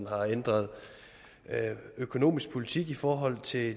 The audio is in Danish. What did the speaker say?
har ændret økonomisk politik i forhold til det